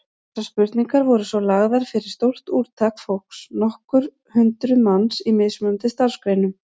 Þessar spurningar voru svo lagðar fyrir stórt úrtak fólks, nokkur hundruð manns, í mismunandi starfsgreinum.